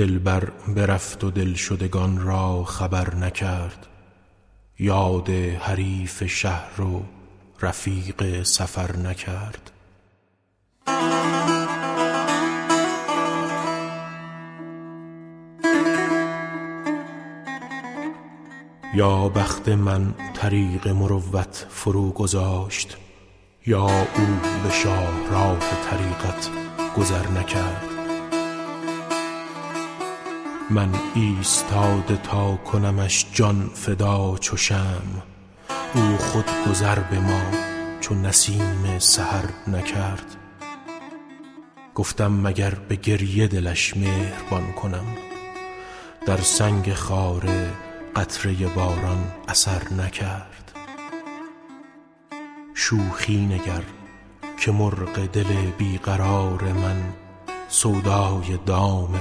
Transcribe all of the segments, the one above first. دلبر برفت و دلشدگان را خبر نکرد یاد حریف شهر و رفیق سفر نکرد یا بخت من طریق مروت فروگذاشت یا او به شاهراه طریقت گذر نکرد گفتم مگر به گریه دلش مهربان کنم چون سخت بود در دل سنگش اثر نکرد شوخی مکن که مرغ دل بی قرار من سودای دام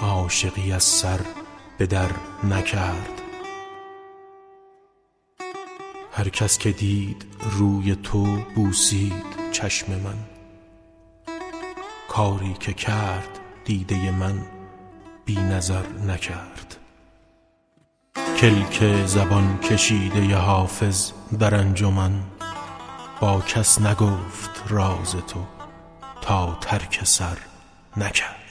عاشقی از سر به درنکرد هر کس که دید روی تو بوسید چشم من کاری که کرد دیده من بی نظر نکرد من ایستاده تا کنمش جان فدا چو شمع او خود گذر به ما چو نسیم سحر نکرد